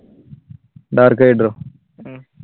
dark rider oh?